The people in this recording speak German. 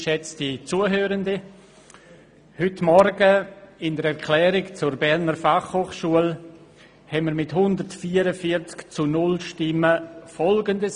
Heute Morgen beschlossen wir mit der Erklärung zur BFH mit 144 zu 0 Stimmen Folgendes: